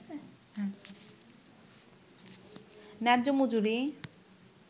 ন্যায্য মজুরি